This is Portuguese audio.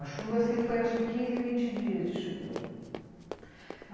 A chuva assim foi acho que quinze, vinte dias de chuva.